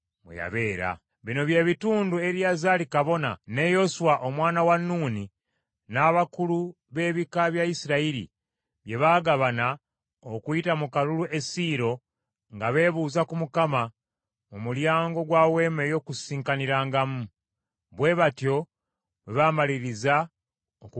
Bino bye bitundu Eriyazaali kabona ne Yoswa omwana wa Nuuni n’abakulu b’ebika bya Isirayiri bye bagabana okuyita mu kalulu e Siiro nga beebuuza ku Mukama mu mulyango gwa Weema ey’Okukuŋŋaanirangamu. Bwe batyo bwe baamaliriza okugabanyaamu ensi.